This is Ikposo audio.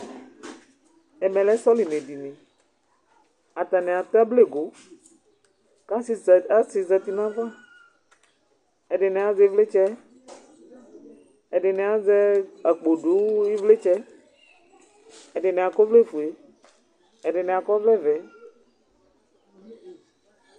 ɛmɛ lɛ sɔlimɛ dini, ata ni atu ablego, ku asi zati nu ayava, ɛdini azɛ ivlitsɛ, ɛdini azɛ akpo du ivlitsɛ, ɛdini akɔ ɔvlɛ fue, ɛdini akɔ ɔvlɛ vɛ